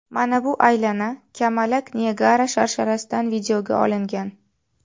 Mana bu aylana kamalak Niagara sharsharasidan videoga olingan.